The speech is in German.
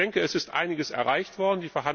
Ich denke, es ist einiges erreicht worden.